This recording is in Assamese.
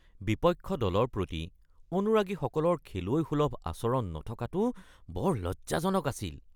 বিপক্ষ দলৰ প্ৰতি অনুৰাগীসকলৰ খেলুৱৈসুলভ আচৰণ নথকাটো বৰ লজ্জাজনক আছিল